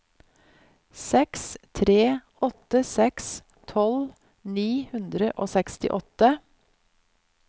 seks tre åtte seks tolv ni hundre og sekstiåtte